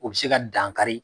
O be se ka dan kari